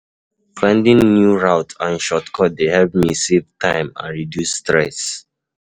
Finding new routes and shortcuts dey help me save time and reduce stress.